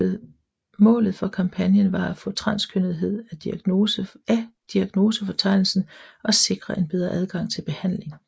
Målet for kampagnen var at få transkønnethed af diagnosefortegnelsen og sikre en bedre adgang til behandling